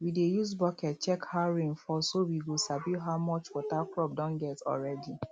we dey use bucket check how rain fall so we go sabi how much water crop don get already